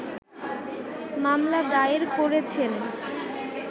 মামলা দায়ের করেছেন